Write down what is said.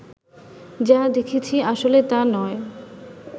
যা দেখছি আসলে তা নয়